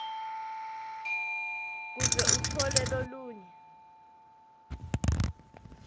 kuze utfole lolunye